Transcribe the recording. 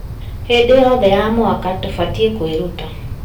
Hĩndĩ yothe ya mwaka, tũbatiĩ kwĩruta